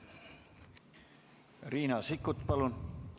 Riina Sikkut, palun!